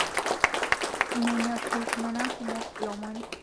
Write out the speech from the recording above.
Menyor ltungana kumo lomon